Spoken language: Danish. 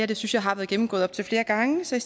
det synes jeg har været gennemgået op til flere gange så